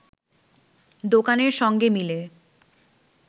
দোকানের সঙ্গে মিলে